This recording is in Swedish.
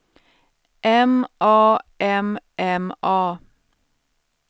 M A M M A